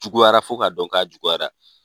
Juguyara fo ka dɔn k'a juguyara.